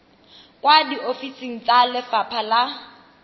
kwa diofising tsa lefapha la